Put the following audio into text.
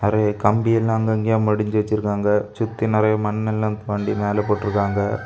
கம்பி எல்லா அங்கங்க மடிந்து வச்சிருக்காங்க. சுத்தி நெறைய மண் எல்லாம் தோண்டி மேலே போட்டு இருக்காங்க.